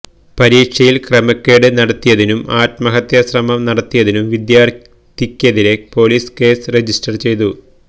പരീക്ഷയില് ക്രമക്കേട് നടത്തിയതിനും ആത്മഹത്യാ ശ്രമം നടത്തിയതിനും വിദ്യാര്ഥിക്കെതിരേ പോലീസ് കേസ് രജിസ്റ്റര് ചെയ്തു